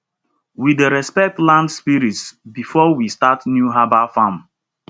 we dey respect land spirits before we start new herbal farm